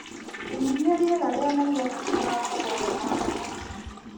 menyithia rĩera rĩa nairobi rĩgũkorwo rĩhana atĩa